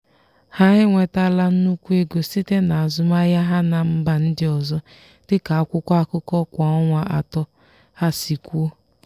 ha enwetala nnukwu ego site na azụmahịa ha na mba ndị ọzọ dị ka akwụkwọ akụkọ kwa ọnwa atọ ha si kwuo.